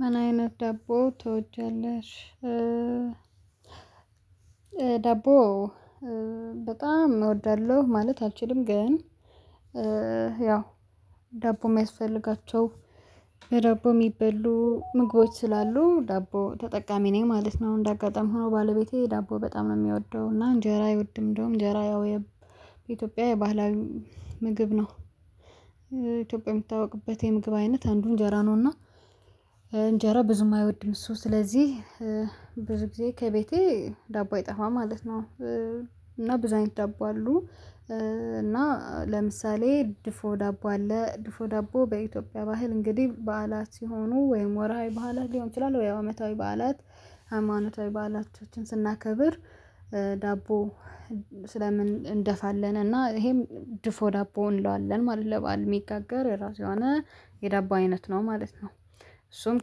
ምን አይነት ደቦ ትወጃለሽ? ደቦ በጣም እወዳለሁ ማለት አልችልም ግን ያው ደቦ የማይስፈልጋቸው በዳቦ የሚበሉ ምግቦች ስላሉ ዳቦ ተጠቃሚ ነኝ ማለት ነው። እንደ አጋጣሚ ሆኖ ባለቤቴ ዳቦ በጣም ነው የሚወደው እና እንጀራ ይወድም እንደውም እንጀራ ወይ በኢትዮጵያ የባህላዊ ምግብ ነው። ኢትዮጵያ የምትታውቅበት የምግብ አይነት አንዱ እንጀራ ነውና እንጀራ ብዙም አይወድም እሱ ስለዚህ ብዙ ጊዜ ከቤቴ ዳቦ አይጠፋም ማለት ነው። እና ብዙ አይነት ዳቦ አሉ እና ለምሳሌ ድፎ ዳቦ አለ ድፎ ዳቦ በኢትዮጵያ ባህል እንግዲህ በዓላት ሲሆኑ ወይም ወርሃዊ ባህላት ሊሆን ይችላል ወይ አመታዊ በዓላት። ሃይማኖታዊ ባላቾችን ስናከብር ዳቦ ስለምን እንደፋለን እና ይሄም ድፎ ዳቦ እንለዋለን ማለት ለበአል የሚጋገር የራሱ የሆነ የዳቦ አይነት ነው ማለት ነው። እሱም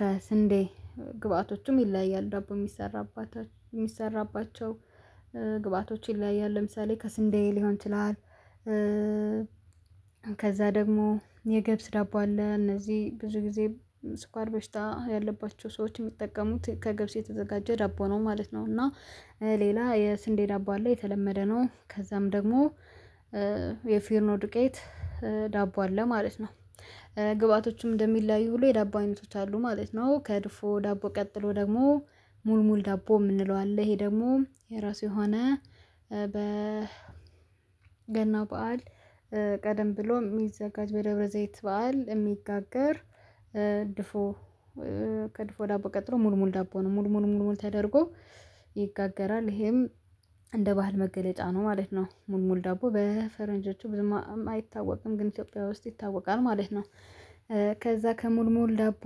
ከስንዴ ግብአቶችም ይለያያል ዳቦ የሚሰራባቸው ግብአቶች ይለያያል ለምሳሌ ከስንዴ ሊሆን ይችላል። ከዛ ደግሞ የገብስ ዳቦ አለ እነዚህ ብዙ ጊዜ ስኳር በሽታ ያለባቸው ሰዎች የሚጠቀሙት ከገብስ የተዘጋጀ ዳቦ ነው ማለት ነው። እና ሌላ የስንዴ ደቦ አለ የተለመደ ነው ከዛም ደግሞ የፊርኖ ዱቄት ዳቦ አለ ማለት ነው። ግብአቶችም እንደሚለያዩ ሁሉ የዳቦ አይነቶች አሉ ማለት ነው። ከድፎ ዳቦ ቀጥሎ ደግሞ ሙሉ ሙሉ ዳቦ የምንለው አለ ይሄ ደግሞ የራሱ የሆነ በ ገና በዓል ቀደም ብሎ የሚዘጋጅ በደብረዘይት በዓል የሚጋገር ድፎ ከድፎ ዳቦ ቀጥሎ ሙል ሙል ዳቦ ነው ሙል ሙል ሙል ሙል ተደርጎ ይጋገራል ይሄም እንደ ባህል መገለጫ ነው ማለት ነው። ሙል ሙል ዳቦ በፈረንጆቹ ብዙም አይታወቅም ግን ኢትዮጵያ ውስጥ ይታወቃል ማለት ነው። ከዛ ከሙል ሙል ዳቦ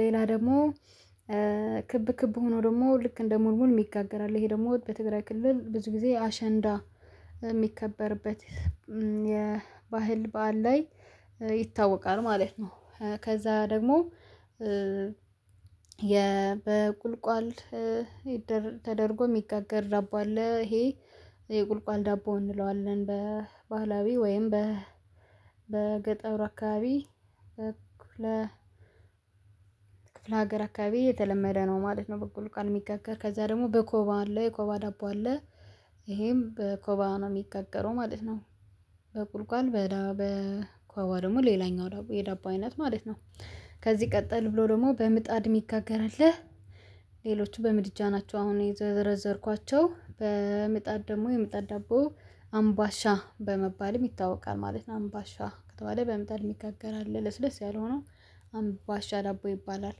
ሌላ ደግሞ ክብ ክብ ሆኖ ደግሞ ልክ እንደ ሙል ሙል የሚጋገር አለ ይሄ ደግሞ በትግራይ ክልል ብዙ ጊዜ አሸንዳ የሚከበርበት የባህል በዓል ላይ ይታወቃል ማለት ነው። ከዛ ደግሞ የ በቁልቋል ተደርጎ የሚጋገር ዳቦ አለ ይሄ የቁልቋል ዳቦ እንለዋለን በባህላዊ ወይም በገጠር አካባቢ ክፍለ ሀገር አካባቢ የተለመደ ነው ማለት ነው። በቁልቋል የሚጋገር ከዛ ደግሞ በኮባ አለው የኮባ ዳቦ አለ ይሄም በኮባ ነው የሚገገረው ማለት ነው። በቁልቋል በዳ በኮባ ደግሞ ሌላኛው የዳቦ አይነት ማለት ነው። ከዚህ ቀጠል ብሎ ደግሞ በምጣድ የሚጋገርልህ ሌሎቹ በምድጃ ናቸው አሁን የዘረዘርኳቸው በምጣድ ደግሞ የምጣድ ደቦ አምባሻ በመባልም ይታወቃል ማለት ነው አምባሻ ከተባለ በምጣድ የሚጋገር አለ ለስለስ ያለ ሆኖ አምባሻ ዳቦ ይባላል።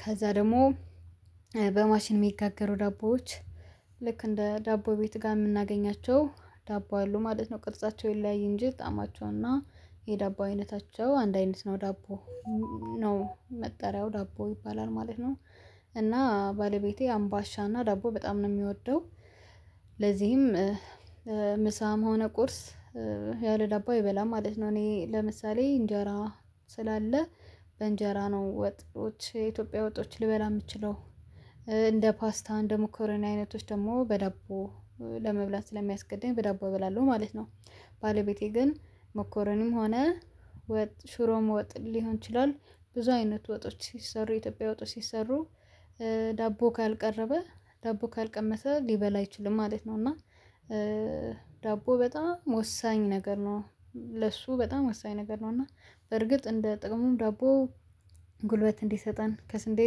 ከዛ ደግሞ በማሽን የሚጋገሩ ዳቦዎች ልክ እንደ ዳቦ ቤት ጋር የምናገኛቸው ዳቦ አሉ ማለት ነው ቅርጻቸው ይለያየ እንጂ ጣማቸው እና የዳቦ አይነታቸው አንድ አይነት ነው ዳቦ ነው መጠሪያው ዳቦ ይባላል ማለት ነው። እና ባለቤቴ አምባሻና ዳቦ በጣም ነው የሚወደው ለዚህም ምሳም የሆነ ቁርስ ያለ ዳቦ አይበላም ማለት ነው። እኔ ለምሳሌ እንጀራ ስላለ በእንጀራ ነው ወጥቶች የኢትዮጵያ ወጦች ልበላ የምችለው እንደ ፓስታ እንደ መኮሮኒ አይነቶች ደግሞ በዳቦ ስለሚያስገድደኝ በዳቦ እበላለሁ ማለት ነው። ባለቤቴ ግን ሞኮረኒም ሆነ ወጥ ሽሮም ወጥ ሊሆን ይችላል ብዙ አይነት ወጦች ሲሰሩ የኢትዮጵያ ወጦች ሲሰሩ ዳቦ ካልቀረበ ዳቦ ካልቀመሰ ሊበላ አይችልም ማለት ነው። እና ዳቦ በጣም ወሳኝ ነገር ነው ለሱ በጣም ወሳኝ ነገር ነው እና በርግጥ እንደ ጥቅሙም ዳቦ ጉልበት እንዲሰጠን ከስንዴ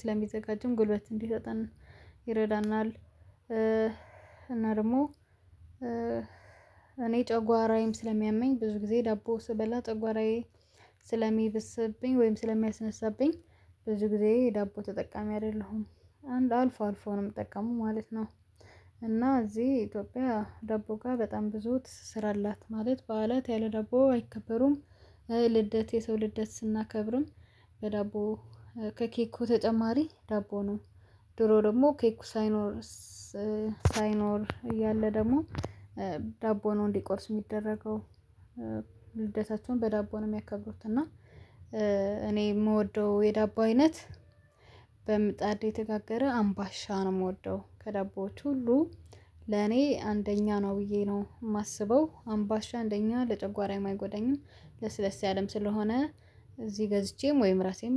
ስለሚዘጋጅም ጉልበት እንዲሰጠን ይረዳናል። እና ደግሞ እኔ ጨጓራዬም ስለሚያመኝ ብዙ ጊዜ ዳቦ ስበላ ጨጓራዬ ስለሚብስብኝ ወይም ስለሚያስነሳብኝ ብዙ ጊዜ ዳቦ ተጠቃሚ አይደለሁም አንድ አልፎ አልፎ ነው የምጠቀመው ማለት ነው። እና እዚህ ኢትዮጵያ ደቦ ጋር በጣም ብዙ ትስራላት ማለት በዓላት ያለ ዳቦ አይከበሩም። ልደት የሰው ልደት ስናከብርም በዳቦ በከኬ ተጨማሪ ዳቦ ነው። ድሮ ደግሞ ኬኩ ሳይኖር ሳይኖር እያለ ደግሞ ዳቦ ነው እንዲቆርስ የሚደረገው ልደታቸውን በዳቦ ነው የሚያከብሩት። እና እኔ የምወደው የዳቦ አይነት በምጣድ የተጋገረ አምባሻ ነው የምወደው ከደቦች ሁሉ ለኔ አንደኛ ነው ብዬ ነው የማስበው አምባሻ አንደኛ ለጨጓራም አይጎዳኝም። ለስለስ ያለም ስለሆነ እዚህ ገዝቼም ወይም ራሴም